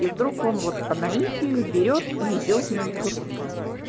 и вдруг он вот по наитию берёт и идёт на литургии